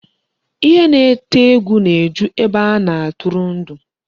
Ihe na-eti egwu na-eju ebe a na-atụrụ ndụ.